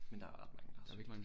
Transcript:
Men der er ret mange der har søgt